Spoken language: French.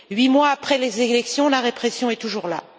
Huit mois après les élections, la répression est toujours là.